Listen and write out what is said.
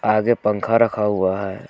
आगे पंखा रखा हुआ है।